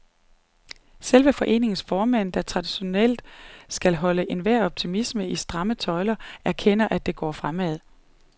Selv foreningens formand, der traditionelt skal holde enhver optimisme i stramme tøjler, erkender, at det går fremad.